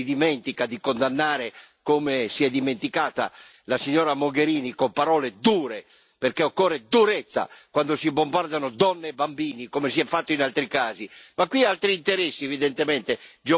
L'aggettivo è rivolto anche a chi si dimentica di condannare, come si è dimenticata la signora Mogherini, con parole dure, perché occorre durezza quando si bombardano donne e bambini, come si è fatto in altri casi.